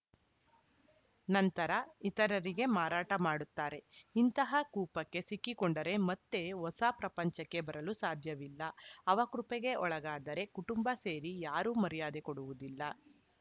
ನಂತರ ಇತರರಿಗೆ ಮಾರಾಟ ಮಾಡುತ್ತಾರೆ ಇಂತಹ ಕೂಪಕ್ಕೆ ಸಿಕ್ಕಿಕೊಂಡರೆ ಮತ್ತೆ ಹೊಸ ಪ್ರಪಂಚಕ್ಕೆ ಬರಲು ಸಾಧ್ಯವಿಲ್ಲ ಅವಕೃಪೆಗೆ ಒಳಗಾದರೆ ಕುಟುಂಬ ಸೇರಿ ಯಾರೂ ಮರ್ಯಾದೆ ಕೊಡುವುದಿಲ್ಲ